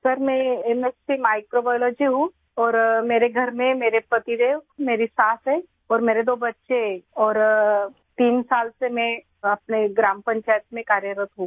sir मैं MSc microbiology हूँ और मेरे घर में मेरे पतिदेव मेरी सास है और मेरे दो बच्चे हैं और तीन साल से मैं अपने ग्राम पंचायत में कार्यरत हूँ